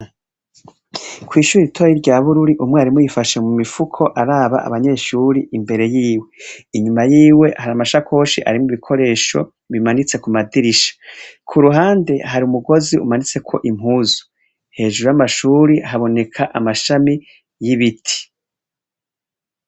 Kw'ishuri itoyi rya bururi umwarimu yifashe mu mifuko araba abanyeshuri imbere yiwe inyuma yiwe hari amashakoshi arimwo ibikoresho bimanitse ku madirisha, ku ruhande hari umugozi umanitsekwo impuzu, hejuru y'amashuri haboneka amashami y'ibiti.